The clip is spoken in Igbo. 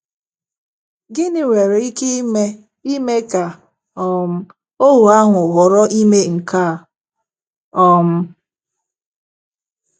Gịnị nwere ike ime ime ka um ohu ahụ họrọ ime nke a? um